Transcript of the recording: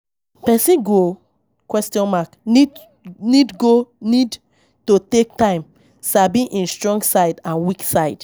Person go need go need to take time sabi im strong side and weak side